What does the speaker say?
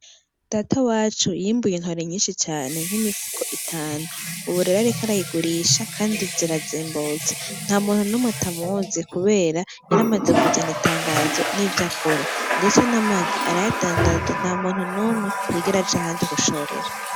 Datawacu yimbuye intore nyinshi cane, nk'imifuko itanu. Ubu rero ariko arayigurisha kandi zirazimbutse, ntamuntu n'umwe atamuzi kubera yari amaze kuzana itangazo ry'ivyo akora, ndetse n'amagi arayadandaza, ntamuntu n'umwe yigera aja ahandi gushorera.